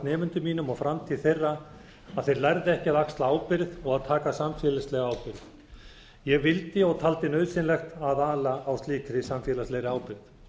nemendum mínum og framtíð þeirra að þeir lærðu ekki að axla ábyrgð og taka samfélagslega ábyrgð ég vildi og taldi nauðsynlegt að ala á slíkri samfélagslegri ábyrgð